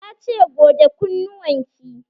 Ta ce 'Goge kunnuwan ki'!